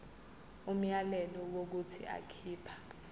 umyalelo wokuthi akhipha